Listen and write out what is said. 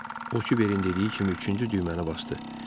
O Kiberin dediyi kimi üçüncü düyməni basdı.